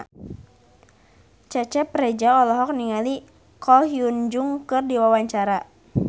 Cecep Reza olohok ningali Ko Hyun Jung keur diwawancara